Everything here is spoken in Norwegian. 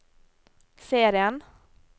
serien